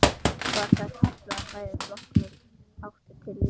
Var það kallað að færa flokkinn í átt til lýðræðis.